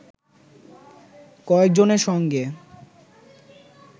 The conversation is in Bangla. কয়েকজনের সঙ্গে